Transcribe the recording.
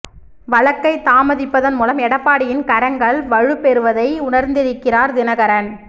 வழக்கை தாமதிப்பதன் மூலம் எடப்பாடியின் கரங்கள் வலுப்பெறுவதை உணர்ந்திருக்கிறார் தினகரன்